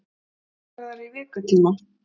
Hafnarfjarðar í vikutíma.